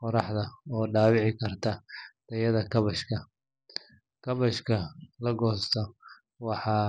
qoraxda oo dhaawici kara tayada kaabashka. Kaabashka la goosto waxaa.